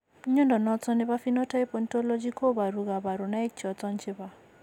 Mnyondo noton nebo Phenotype Ontology koboru kabarunaik choton chebo